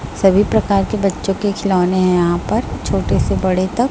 सभी प्रकार के बच्चों के खिलौने हैं यहां पर छोटे से बड़े तक--